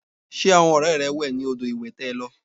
Ṣé àwọn ọrẹ rẹ wẹ ní odò ìwẹ̀ tẹ lọ?